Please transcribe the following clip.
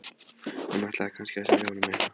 Hún ætlaði kannski að selja honum eitthvað.